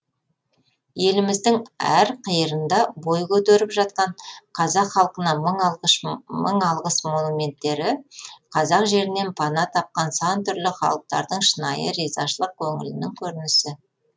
еліміздің әр қиырында бой көтеріп жатқан қазақ халқына мың алғыс монументтері қазақ жерінен пана тапқан сан түрлі халықтардың шынайы ризашылық көңілінің көрінісі